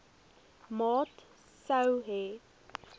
maat sou hê